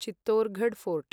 Chittorgarh fort